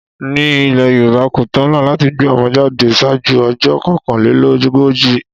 Ní ile Yorùbá, kò tọ̀nà láti gbé ọmọ jáde ṣáájú ọjọ́ kokanlelogoji.